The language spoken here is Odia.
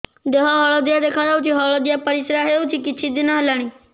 ଦେହ ହଳଦିଆ ଦେଖାଯାଉଛି ହଳଦିଆ ପରିଶ୍ରା ହେଉଛି କିଛିଦିନ ହେଲାଣି